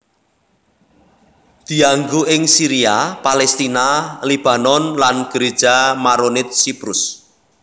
Dianggo ing Syria Palestina Lebanon lan Gereja Maronit Siprus